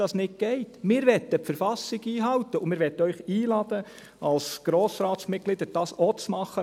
Wir möchten die Verfassung einhalten und wir möchten Sie als Grossratsmitglieder einladen, dies auch zu tun.